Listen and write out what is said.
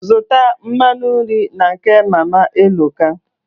Zụta mmanụ nri na nke Mama Eloka.